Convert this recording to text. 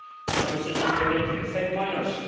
now decisions directly affect minors.